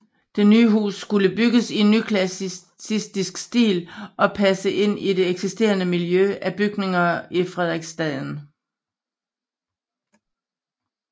Det nye hus skulle bygges i nyklassicistisk stil og passe ind i det eksisterende miljø af bygninger i Frederiksstaden